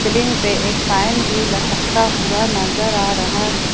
Ceiling पे एक fan भी लटकता हुआ नजर आ रहा है।